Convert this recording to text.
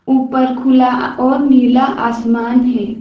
ऊपर खुला और नीला आसमान है।